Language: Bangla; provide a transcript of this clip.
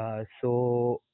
আহ so